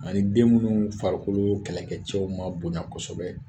Ani den minnu farikolo kɛlɛkɛcɛw ma bonya kosɛbɛ